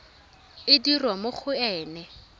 e dirwa mo go ena